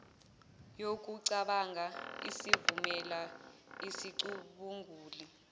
yokucabanga isivumela sicubungule